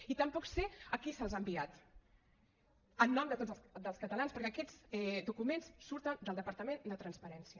i tampoc sé a qui se’ls ha enviat en nom de tots els catalans perquè aquests documents surten del departament de transparència